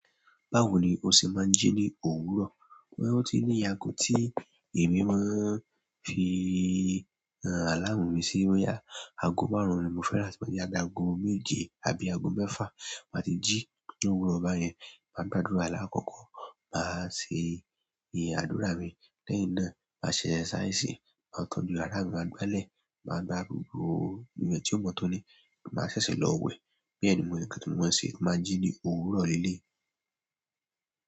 Báwo ni o ṣe máa ń jí ní òwúrọ̀? Oti ní iye ago tí èmi máa ń fi alámu mi sí. Bo yá ago márùn-ún ni mo fẹ́ràn láti máa jí. Agó méje àbí ago mẹ́fà máa ti jí ni òwúrọ̀ ba yẹn. Màá gba àdúrà alákọ̀kọ̀, màá ṣe ìyè àdúrà mi, lẹ́yìn náà màá ṣẹ̀ exercise. Màá tọ́jú ará mi, màá gbé lẹ̀, màá gba gbogbo ile tí ó mọ́ tóní, màá ṣẹ̀ṣẹ̀ lọ wẹ̀. Bẹ ni mò n kan ti mo máa n ṣe mo maa n jí ní òwúrọ̀ lé léyi.